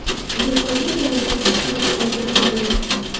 Do‘konda yana bir kishi halok bo‘lgani ma’lum.